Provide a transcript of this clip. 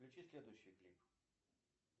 включи следующий клип